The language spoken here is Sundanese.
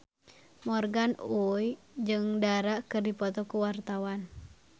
Morgan Oey jeung Dara keur dipoto ku wartawan